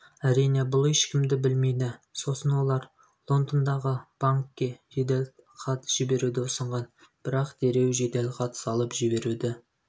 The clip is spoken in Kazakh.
әрин бұл ешкімді білмейді сосын олар лондондағы банкке жеделхат жіберуді ұсынған бірақ дереу жеделхат салып жіберуді